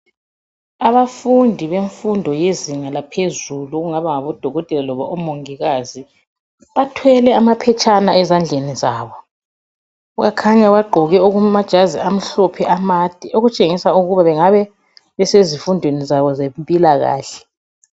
Abafundi bemfundo yezinga laphezulu okungaba ngodokotela loba omongikazi. Bathwele amaphetshana ezandleni zabo. Bakhanya bagqoke amajazi amhlophe amade okutshengisa ukuba bengabe besezifundweni zabo zempilakahle.